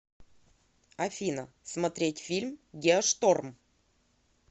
афина смотерть фильм геошторм